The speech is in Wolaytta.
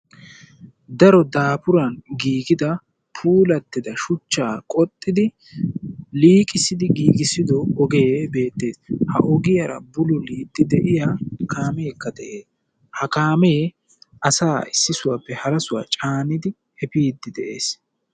Daro daafuran giigida puulattida shuchchaa qoxxidi liiqissidi giigissido ogee beettees. Ha ogiyara bululiiddi de'iya kaameekka de'ee. Ha kaamee asaa issi sohuwappe hara sohuwa caanidi efiiddi de'ees.